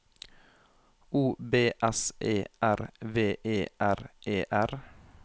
O B S E R V E R E R